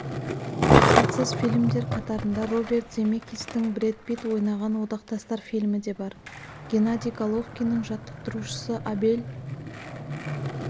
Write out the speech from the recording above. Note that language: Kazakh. сәтсіз фильмдер қатарында роберт земекистің брэд питт ойнаған одақтастар фильмі де бар геннадий головкиннің жаттықтырушысы абель